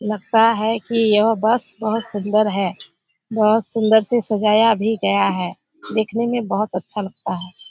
लगता है कि यह बस बहुत सुंदर है। बहुत सुंदर से सजाया भी गया है। देखने में बहुत अच्छा लगता है।